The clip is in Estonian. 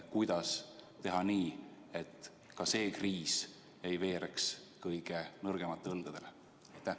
Kuidas teha nii, et ka selle kriisi mõju ei veereks kõige nõrgemate õlgadele?